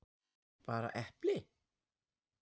Bara epli?